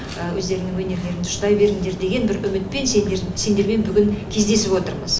өздеріңнің өнерлеріңді ұштай беріңдер деген бір үмітпен сендермен бүгін кездесіп отырмыз